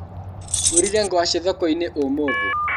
Ngũrire ngwaci thokoinĩ ũmũthĩ.